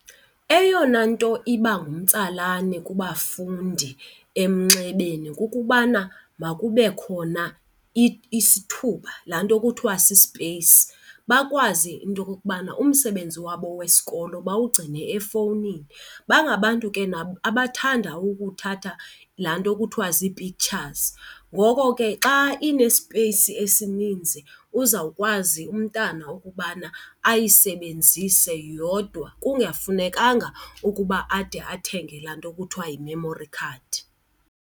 Eyona nto iba ngumtsalane kubafundi emnxebeni kukubana makube khona isithuba laa nto kuthiwa sisipeyisi, bakwazi into yokokubana umsebenzi wabo wesikolo bawugcine efowunini. Bangabantu ke nabo abathanda ukuthatha laa nto kuthiwa zii-pictures, ngoko ke xa inesipeyisi esininzi uzawukwazi umntana ukubana ayisebenzise yodwa kungafunekanga ukuba ade athenge laa nto kuthiwa yi-memory card.